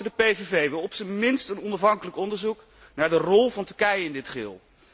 De PVV wil op zijn minst een onafhankelijk onderzoek naar de rol van Turkije in dit geheel.